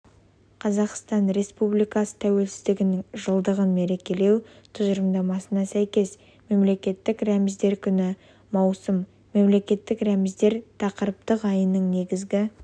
қазақстан республикасы тәуелсіздігінің жылдығын мерекелеу тұжырымдамасына сәйкес мемлекеттік рәміздер күні маусым мемлекеттік рәміздер тақырыптық айының негізгі